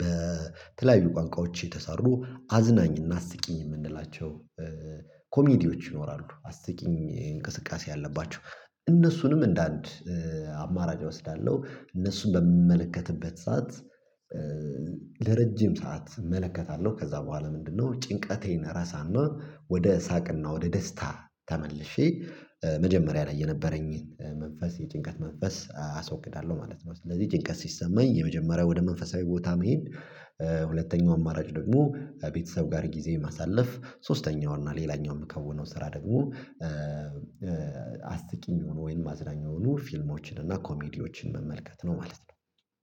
በተለያዩ ቋንቋዎች የተሰሩ አዝናኝ እና አስቂኝ የምንላቸው ኮሜዲዎች ይኖራሉ አስቂኝ እንቅስቃሴ ያለባቸው እነሱንም እንደአንድ አማራጭ እወስዳለሁ እነሱን በምመለከትበት ሰዓት ለረጅም ሰዓት እመለከታለሁ። ከዛ በኋላ ምንድነው ጭንቀቴን ራሳና ወደ ሳቅና ወደ ደስታ ተመልሼ መጀመሪያ ላይ የነበረኝን መንፈስ የጭንቀት መንፈስ አስወግዳለሁ ማለት ነው። ስለዚህ ጭንቀት ሲሰማኝ የመጀመሪያ ወደ መንፈሳዊ ቦታ መሄድ ሁለተኛው አማራጭ ደግሞ ቤተሰብ ጋር ጊዜ ማሳለፍ፣ ሶስተኛው እና ሌላኛውን የምከውነው ስራ ደግሞ አስቂኝ የሆኑ ወይም አዝናኝ የሆኑ ፊልሞችን እና ኮሜዲዎችን መመልከት ነው ማለት ነው።